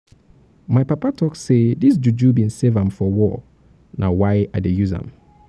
my papa talk sey dis juju bin save am for war na why i dey use am.